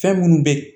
Fɛn minnu bɛ